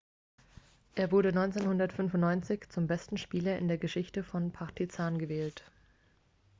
er wurde 1995 zum besten spieler in der geschichte von partizan gewählt